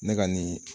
Ne ka nin